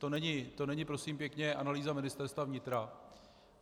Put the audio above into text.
To není prosím pěkně analýza Ministerstva vnitra.